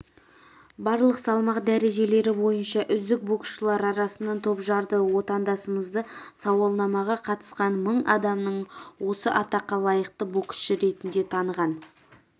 барлық салмақ дәрежелері бойынша үздік боксшылар арасынан топжарды отандасымызды сауалнамаға қатысқан мың адамның осы атаққа лайықты боксшы ретінде таныған